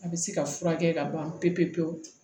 A bɛ se ka furakɛ ka ban pewu-pewu pewu